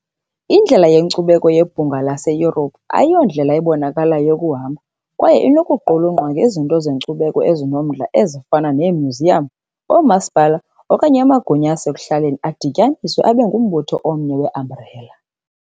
Indlela yenkcubeko yeBhunga laseYurophu ayiyondlela ebonakalayo yokuhamba kwaye inokuqulunqwa ngezinto zenkcubeko ezinomdla, ezifana neemyuziyam, oomasipala okanye amagunya asekuhlaleni adityaniswe abe ngumbutho omnye weambrela.